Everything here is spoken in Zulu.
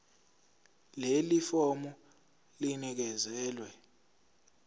leli fomu linikezelwe